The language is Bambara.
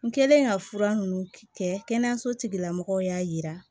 N kɛlen ka fura ninnu kɛ kɛnɛyaso tigilamɔgɔw y'a yira